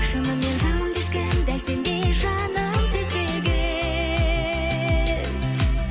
шынымен жанымды ешкім дәл сендей жаным сезбеген